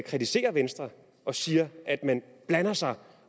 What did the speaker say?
kritiserer venstre og siger at man blander sig